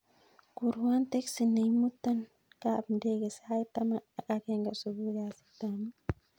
Kurwon teksi nemuton kap ndege sait taman ak agenge supui kasit ap mut